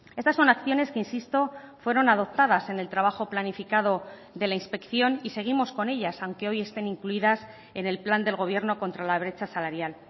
estas son acciones que insisto fueron adoptadas en el trabajo planificado de la inspección y seguimos con ellas aunque hoy estén incluidas en el plan del gobierno contra la brecha salarial